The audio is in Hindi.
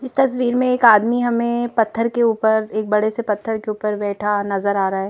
इस तस्वीर में एक आदमी हमें पत्थर के ऊपर एक बड़े से पत्थर के ऊपर बैठा नजर आ रा है।